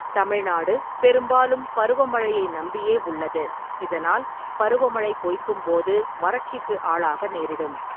தமிழ்நாடு பெரும்பாலும் பருவ மழையை நம்பியே உள்ளது, இதனால் பருவ மழை பொய்க்கும் போது வறட்சிக்கு ஆளாக நேரிடும்.